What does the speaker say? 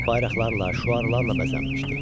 Bayraqlarla, şüarlarla bəzənmişdi.